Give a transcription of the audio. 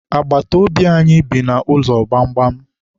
Agbata obi anyị bi n'ụlọ gbamgbam.